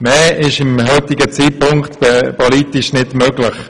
Mehr ist zum heutigen Zeitpunkt politisch nicht möglich.